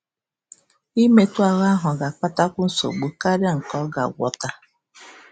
Ime etu ahụ ga-akpatakwu nsogbu karịrị nke ọ ga-agwọta.